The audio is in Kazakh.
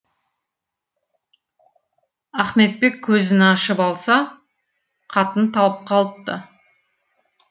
ахметбек көзін ашып алса қатын талып калыпты